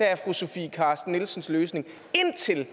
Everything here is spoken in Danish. er fru sofie carsten nielsens løsning indtil